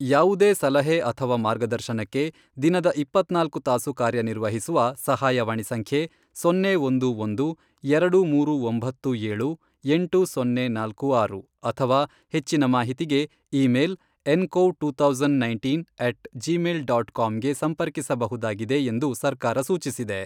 ಯಾವುದೇ ಸಲಹೆ ಅಥವಾ ಮಾರ್ಗದರ್ಶನಕ್ಕೆ ದಿನದ ಇಪ್ಪತ್ನಾಲ್ಕು ತಾಸು ಕಾರ್ಯನಿರ್ವಹಿಸುವ ಸಹಾಯವಾಣಿ ಸಂಖ್ಯೆ ಸೊನ್ನೆ ಒಂದು ಒಂದು, ಎರಡು ಮೂರು ಒಂಬತ್ತು ಏಳು, ಎಂಟು ಸೊನ್ನೆ ನಾಲ್ಕು ಆರು, ಅಥವಾ ಹೆಚ್ಚಿನ ಮಾಹಿತಿಗೆ, email ncov two thousand nineteen at Gmail dot ಕಾಮ್ಗೆ ಸಂಪರ್ಕಿಸಬಹುದಾಗಿದೆ ಎಂದು ಸರ್ಕಾರ ಸೂಚಿಸಿದೆ.